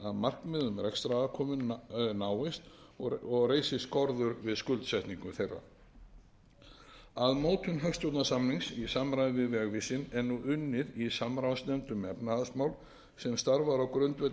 er tryggi að markmiðum rekstrarafkomu náist og reisi skorður við skuldsetningu þeirra að mótun hagstjórnarsamnings í samræmi við vegvísinn er nú unnið í samráðsnefnd um efnahagsmál sem starfar á